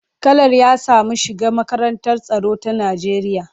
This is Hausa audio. Kalar ya samu shiga makarantar tsaro ta Najeriya.